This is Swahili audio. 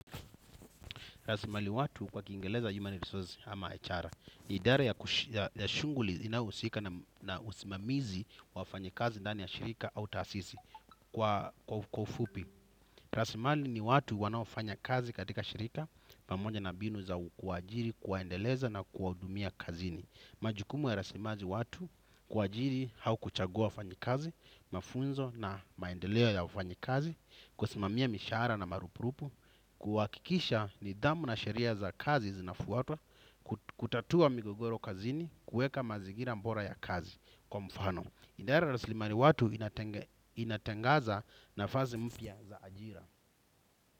Rasimali watu kwa kingereza human resources ama echara ni idara ya shunguli inayohusika na usimamizi wafanyikazi ndani ya shirika au taasisi kwa ufupi. Rasimali ni watu wanaofanya kazi katika shirika pamoja na mbinu za ukuwajiri, kuwaendeleza na kuwahudumia kazini. Majukumu ya rasimaji watu kuwajiri hau kuchagua wafanyi kazi, mafunzo na maendeleo ya wafanyi kazi, kusimamia mishara na marupurupu, kuwakikisha ni damu na sheria za kazi zinafuwatwa. Kutatua migogoro kazini kueka mazigira mbora ya kazi kwa mfano idara raslimari watu inatengaza nafazi mpia za ajira.